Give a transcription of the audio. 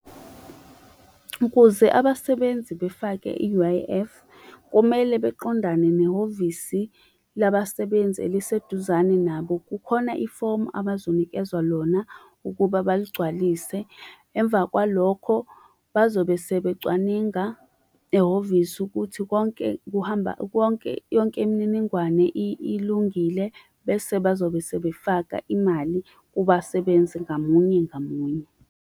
Ukuze abasebenzi befake i-U_I_F, kumele beqondane nehhovisi labasebenzi eliseduzane nabo. Kukhona ifomu abazokunikezwa lona ukuba baligcwalise. Emva kwalokho, bazobe sebecwaninga ehhovisi ukuthi konke konke, yonke imininingwane ilungile bese bazobe sebefaka imali kubasebenzi ngamunye ngamunye.